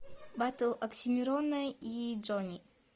баттл оксимирона и джони